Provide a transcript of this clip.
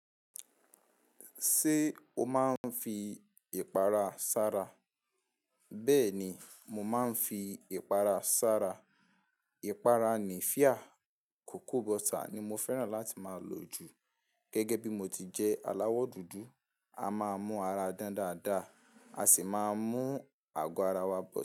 Ṣé o máa ń fi ìpara sára? Bẹ́ẹ̀ ni, mo máa ń fi ìpara sára. Ìpara ni fia, cocoa butter ni mo fẹ́ràn láti máa lò jù. Gẹ́gẹ́ bí mo ti jẹ́ aláwọ̀ dúdú, a máa mú ara dán dáadáa, a sì máa mú àgọ́ ara wa bọ̀